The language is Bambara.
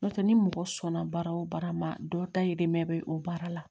N'o tɛ ni mɔgɔ sɔnna baara o baara ma dɔ dayirimɛ bɛ o baara la